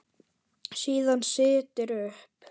Síðan styttir upp.